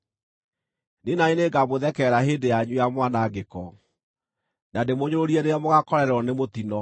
niĩ na niĩ nĩngamũthekerera hĩndĩ yanyu ya mwanangĩko, na ndĩmũnyũrũrie rĩrĩa mũgaakorererwo nĩ mũtino: